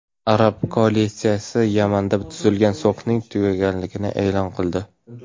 Arab koalitsiyasi Yamanda tuzilgan sulhning tugaganligini e’lon qildi.